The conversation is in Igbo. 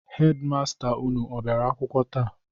Hedi masta unu abịara akwụkwọ taa?